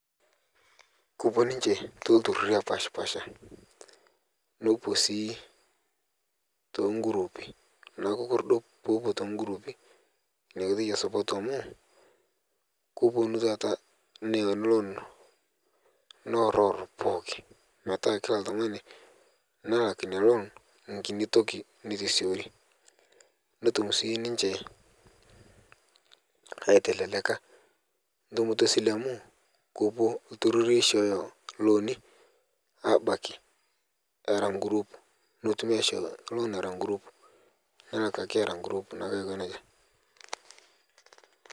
Kepuo ninje too iltururi opashipasha nepuo sii too gurupii ore pee epuo too gurupii naa ketum support amu kepuonu taata neya loan neorior pookin meeat kila oltung'ani ena loan newa enkiti toki netum sininje aitelelia entumoto esile amu kepuo nkampuni abaiki era guruupi netum loan